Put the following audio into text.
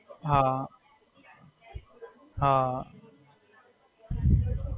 હાં.